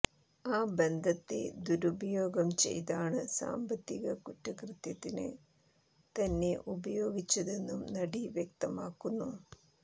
ആ ബന്ധത്തെ ദുരുപയോഗം ചെയ്താണ് സാമ്പത്തിക കുറ്റകൃത്യത്തിന് തന്നെ ഉപയോഗിച്ചതെന്നും നടി വ്യക്തമാക്കുന്നു